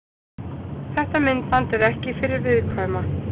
Þetta myndband er ekki fyrir viðkvæma.